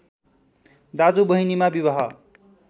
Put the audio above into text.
दाजु बहिनीमा विवाह